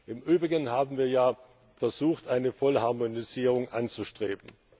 Im Übrigen haben wir ja versucht, eine Vollharmonisierung anzustreben.